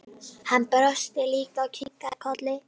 Hann brosti líka og kinkaði kolli.